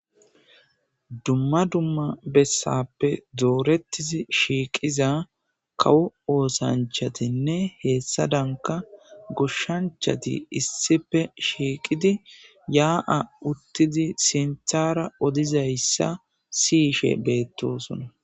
Dumma dumma bessappe doorettizi shiiqiza kawo oosanchatinne heessa danka goshshanchati issipe shiiqidi yaa'a uttidi sinthara odizayssa siyishe beettosona